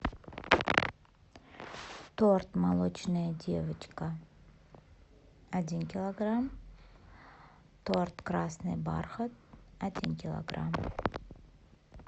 торт молочная девочка один килограмм торт красный бархат один килограмм